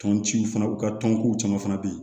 Tɔn ciw fana u ka tɔnko caman fana bɛ yen